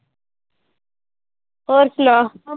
ਹੋਰ ਸੁਨਾ?